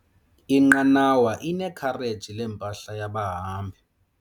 Inqanawa inekhareji lempahla yabahambi.